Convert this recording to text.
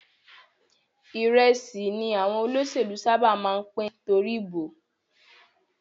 Ìrẹsì ni àwọn olóṣèlú sábà máa ń pín torí ìbò